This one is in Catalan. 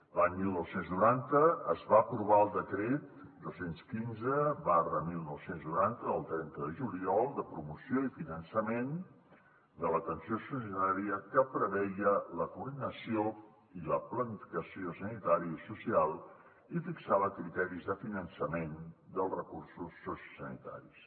l’any dinou noranta es va aprovar el decret dos cents i quinze dinou noranta del trenta de juliol de promoció i finançament de l’atenció sociosanitària que preveia la coordinació i la planificació sanitària i social i fixava criteris de finançament dels recursos sociosanitaris